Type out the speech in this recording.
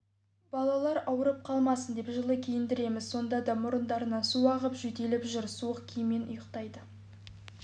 балалар ауырып қалмасын деп жылы киіндіреміз сонда да мұрындарынан су ағып жөтеліп жүр суық киіммен ұйықтайды